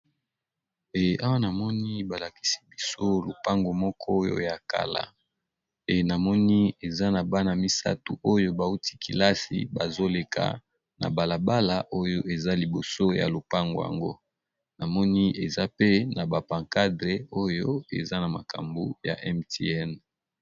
Ea. Namoni balakisi biso lopango moko oyo ya kala e namoni eza na bana misato oyo bauti kilasi bazoleka na balabala oyo eza liboso ya lopango yango namoni eza pe na bapancadre oyo eza na makambo ya mtn